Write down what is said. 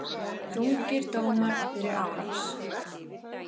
Þungir dómar fyrir árás